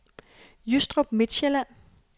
Jystrup Midtsjælland